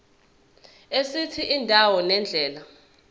esithi indawo nendlela